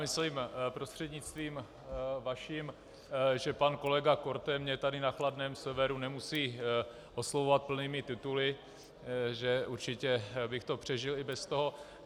Myslím, prostřednictvím vaším, že pan kolega Korte mě tu na chladném severu nemusí oslovovat plnými tituly, že určitě bych to přežil i bez toho.